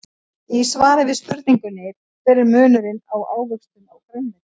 Í svari við spurningunni Hver er munurinn á ávöxtum og grænmeti?